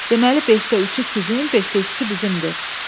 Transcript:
Deməli beşdə üçü sizin, beşdə ikisi bizimdir.”